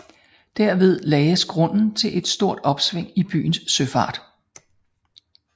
Derved lagdes grunden til et stort opsving i byens søfart